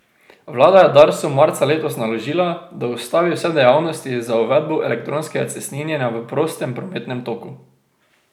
Vlada je Darsu marca letos naložila, da ustavi vse dejavnosti za uvedbo elektronskega cestninjenja v prostem prometnem toku.